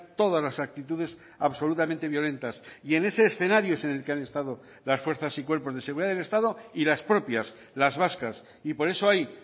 todas las actitudes absolutamente violentas y en ese escenario es en el que han estado las fuerzas y cuerpos de seguridad del estado y las propias las vascas y por eso hay